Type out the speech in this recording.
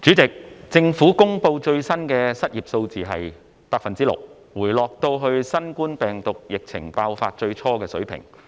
主席，政府公布最新的失業數字是 6%， 回落到新冠病毒疫情爆發最初時的水平。